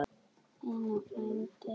Einar frændi.